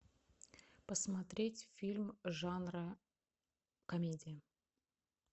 посмотреть фильм жанра комедия